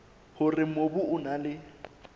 hore mobu o na le